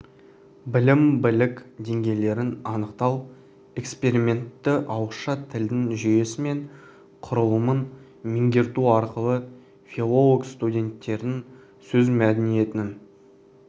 білім білік деңгейлерін анықтау эксперименті ауызша тілдің жүйесі мен құрылымын меңгерту арқылы филологстуденттердің сөз мәдениетін